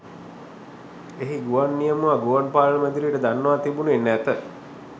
එහි ගුවන් නියමුවා ගුවන් පාලන මැදිරියට දන්වා තිබුණේ නැත.